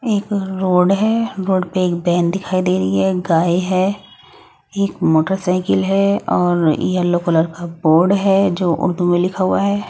एक रोड है रोड पे एक वैन दिखाई दे रही है गाय है एक मोटरसाइकिल है और येलो कलर का बोर्ड है जो उर्दू में लिखा हुआ है।